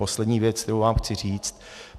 Poslední věc, kterou vám chci říct.